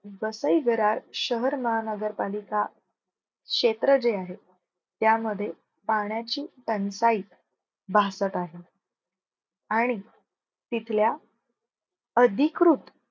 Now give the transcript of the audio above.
वसई विरार शहर महानगरपालिका क्षेत्र जे आहे. त्यामध्ये पाण्याची टंचाई आणि तिथल्या अधिकृत